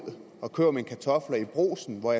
og køber mine kartofler i brugsen og